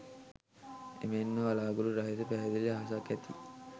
එමෙන්ම වලාකුළු රහිත පැහැදිලි අහසක් ඇති